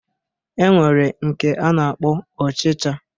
E nwere nke a na-akpọ ọchịcha